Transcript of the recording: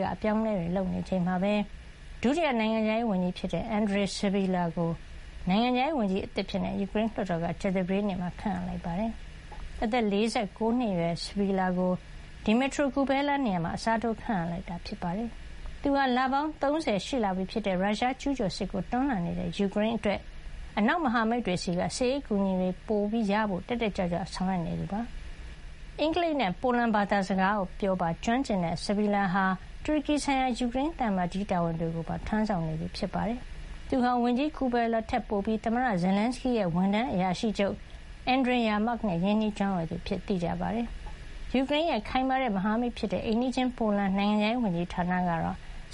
က အပြောင်းအလဲတွေ လုပ်နေချိန်မှာပဲ ဒုတိယနိုင်ငံခြားရေးဝန်ကြီး ဖြစ်တဲ့ အန်ဒရီ စဘီလာ (Andriy Sybiga) ကို ကြာသပတေးနေ့မှာ ယူကရိန်းလွှတ်တော်က နိုင်ငံခြားရေး ဝန်ကြီးသစ်အဖြစ် ခန့်အပ်လိုက်ပါတယ်။ အသက် ၄၉ နှစ်အရွယ် စဘီလာကို Dmytro Kuleba နေရာမှာ အစားထိုးခန့်အပ်လိုက်တာပါ။ သူဟာ လပေါင်း ၃၀ ရှိလာပြီဖြစ်တဲ့ ရုရှားကျူးကျော်စစ်ကို တွန်းလှန်နေတဲ့ယူကရိန်းအတွက် အနောက်မဟာမိတ်တွေဆီက စစ်ရေး အကူအညီတွေ ပိုရဖို့ တက်တက်ကြွကြွ ဆောင်ရွက်နေသူဖြစ်ပါတယ်။ အင်္ဂလိပ်နဲ့ ပိုလန်ဘာသာစကားပြောပါ ကျွမ်းကျင်တဲ့ စဘီလာဟာ တူရကီဆိုင်ရာ ယူကရိန်းသံအမတ်ကြီး တာဝန်တွေကိုပါ ထမ်းဆောင်နေသူဖြစ်ပါတယ်။ သူဟာ ဝန်ကြီး Kuleba ထက်ပိုပြီး သမ္မတ Zelenskyy ရဲ့ ဝန်ထမ်းအရာရှိချုပ် Andriy Yermak နဲ့ ရင်းနှီးကျွမ်းဝင်သူအဖြစ် သိကြပါတယ်။ ယူကရိန်းရဲ့ ခိုင်မာတဲ့ မဟာမိတ်ဖြစ်တဲ့ အိမ်နီးချင်း ပိုလန်နိုင်ငံခြာရေးဝန်ကြီးဌာနက